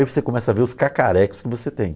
Aí você começa a ver os cacarecos que você tem.